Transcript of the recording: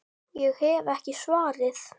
Ég hef ekki svarið.